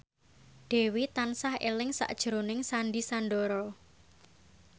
Dewi tansah eling sakjroning Sandy Sandoro